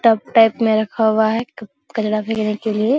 Tub type में रखा हुआ है क कचरा फेंकने के लिए।